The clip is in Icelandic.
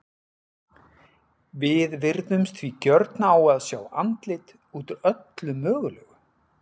Við virðumst því gjörn á að sjá andlit út úr öllu mögulegu.